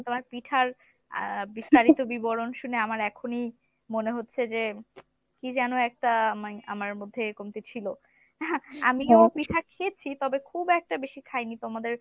তোমার পিঠার আহ বিস্তারিত বিবরণ শুনে আমার এখনই মনে হচ্ছে যে কি যেন একটা আমায় আমার মধ্যে কমতি ছিল, আমিও পিঠা খেয়েছি তবে খুব একটা বেশি খাইনি তোমাদের